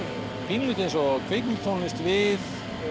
pínulítið eins og kvikmyndatónlist við